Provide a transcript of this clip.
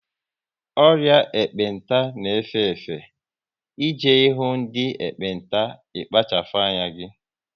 Ọrịa ekpenta n'efe efe, e je ihu ndị ekpenta ikpachapu anya